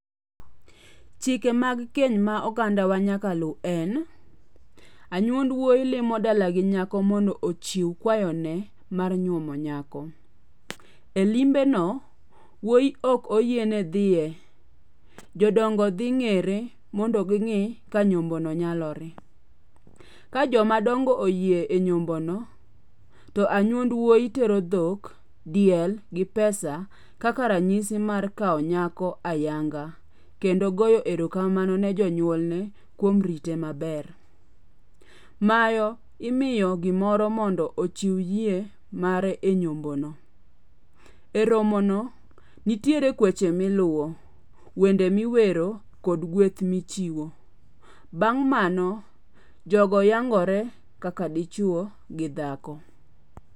Chike mag keny ma oganda wa nyaka lu en. Anyuond wuoi limo dala gi nyako mondo ochiw kwayo ne mar nyuomo nyako. E liombe no, wuoi ok oyie ne dhiye. Jodongo dhi ng'ere mondo ging'e ka nyombo no nyalore. Ka jomadongo oyie e nyombo no, to anyuond wuoi tero dhok, diel, gi pesa kaka ranyisi mar kao nyako ayanga kendo goyo erokamano ne jonyuolne kuom rite maber. Maro imiyo gimoro mondo ochiw yie mare e nyombo no. E romo no, nitiere kweche miluwo, wende miwero kod gweth michiwo. Bang' mano, jogo yangore kaka dichuo gi dhako.